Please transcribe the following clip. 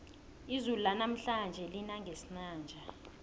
izulu lanamhlanje lina ngesinanja